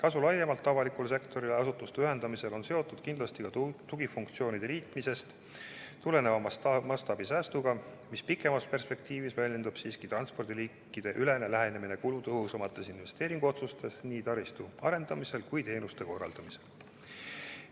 Asutuste ühendamise kasu avalikule sektorile laiemalt on seotud kindlasti ka tugifunktsioonide liitmisest tuleneva mastaabisäästuga, mis pikemas perspektiivis väljendub transpordiliikideüleses lähenemises kulutõhusamates investeeringuotsustes nii taristu arendamisel kui teenuste korraldamisel.